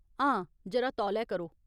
हां, जरा तौले करो।